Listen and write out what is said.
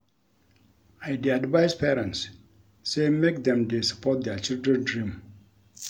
I dey advice parents sey make dem dey support their children dream.